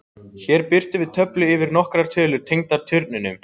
Hér birtum við töflu yfir nokkrar tölur tengdar turnunum: